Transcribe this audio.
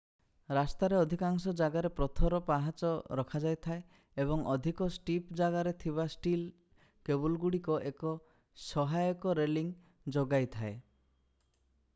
ରାସ୍ତା ରେ ଅଧିକାଂଶ ଜାଗାରେ ପଥର ପାହାଚ ରଖାଯାଇଥାଏ ଏବଂ ଅଧିକ ଷ୍ଟିପ ଜାଗାରେ ଥିବା ଷ୍ଟିଲ୍ କେବୁଲଗୁଡିକ ଏକ ସହାୟକ ରେଲିଙ୍ଗ ଯୋଗାଇଥାଏ